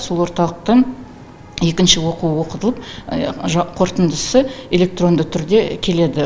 сол орталықтың екінші оқуы оқытылып қорытындысы электронды түрде келеді